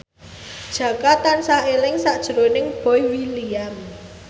Jaka tansah eling sakjroning Boy William